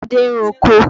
Adé ń roko.